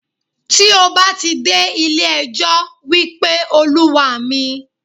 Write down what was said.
Tí o bá ti dé ilé ẹjọ́, wípé Olúwa mi.